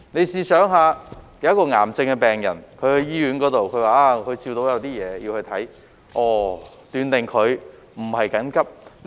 試想想，一名癌症病人去醫院，表示照到有些東西，要看診，被斷定為非緊急個案。